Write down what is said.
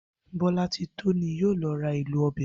Bó̩látitó ni yóò lo̩ ra èlò o̩bè̩ wá